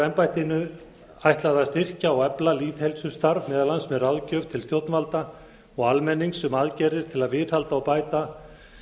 embættinu ætlað að styrkja og efla lýðheilsustarf meðal annars með ráðgjöf til stjórnvalda og almennings um aðgerðir til að viðhalda og bæta